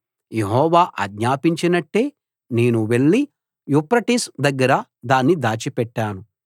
యెహోవా ఆజ్ఞాపించినట్టే నేను వెళ్ళి యూఫ్రటీసు దగ్గర దాన్ని దాచిపెట్టాను